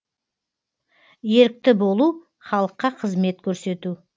ерікті болу халыққа қызмет көрсету